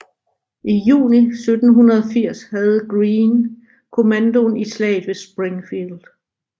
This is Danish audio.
I juni 1780 havde Greene kommandoen i Slaget ved Springfield